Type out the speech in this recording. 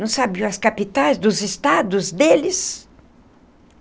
Não sabiam as capitais dos estados deles.